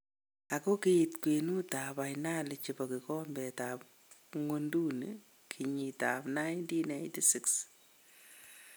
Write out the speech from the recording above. Ago giit kwenuut ab finali chebo kigombet ab ngwoduni keyiit ab 1986.